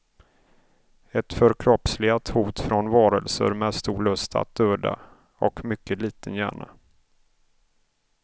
Ett förkroppsligat hot från varelser med stor lust att döda, och mycket liten hjärna.